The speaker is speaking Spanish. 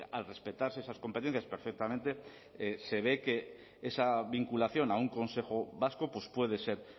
al respetarse esas competencias perfectamente se ve que esa vinculación a un consejo vasco pues puede ser